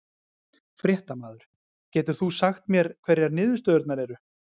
Fréttamaður: Getur þú sagt mér hverjar niðurstöðurnar eru?